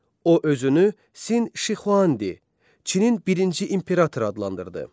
O özünü Sin Şixuandi Çinin birinci imperator adlandırdı.